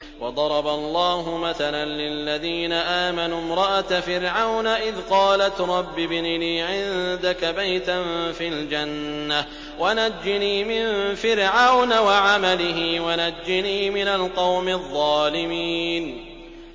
وَضَرَبَ اللَّهُ مَثَلًا لِّلَّذِينَ آمَنُوا امْرَأَتَ فِرْعَوْنَ إِذْ قَالَتْ رَبِّ ابْنِ لِي عِندَكَ بَيْتًا فِي الْجَنَّةِ وَنَجِّنِي مِن فِرْعَوْنَ وَعَمَلِهِ وَنَجِّنِي مِنَ الْقَوْمِ الظَّالِمِينَ